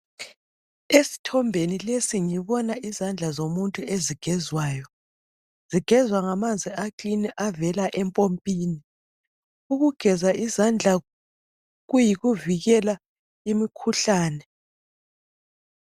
Esithombeni lesi ngibona izandla zomuntu ezigezwayo. Zigezwa ngamanzi aklini avela empompini. Ukugeza izandla kuyikuvikela imikhuhlani.